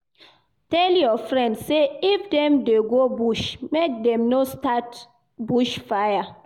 Tell your friends sey if dem dey go bush, make dem no start bush fire.